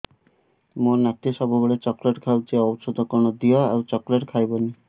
ମୋ ନାତି ସବୁବେଳେ ଚକଲେଟ ଖାଉଛି ଔଷଧ କଣ ଦିଅ ଆଉ ଚକଲେଟ ଖାଇବନି